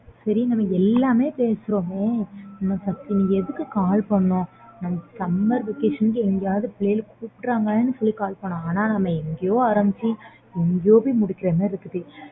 சரி நம்ம எல்லாமே பேசுறோம் நம்ம எதுக்கு call பன்னோம் நம்ம summer vacation எங்காவது பிள்ளைங்க கூப்பிட்றாங்க சொன்னோம் ஆனா நம்ம எங்கயோ ஆரம்பிச்சி எங்கயோ போய் முடிக்குறோம்